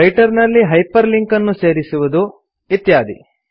writer ನಲ್ಲಿ hyperlink ಅನ್ನು ಸೇರಿಸುವುದು ಇತ್ಯಾದಿ